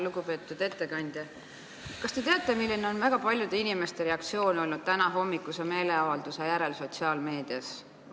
Lugupeetud ettekandja, kas te teate, milline on olnud väga paljude inimeste reaktsioon sotsiaalmeedias tänahommikuse meeleavalduse järel?